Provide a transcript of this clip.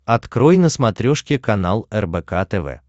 открой на смотрешке канал рбк тв